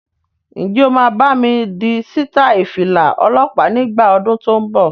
Ǹjẹ́ o máa bámi di sítai Fìlà ọlọ́pa nígbà ọdún tó ń bọ̀?